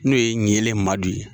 N'o ye Niyele Madu ye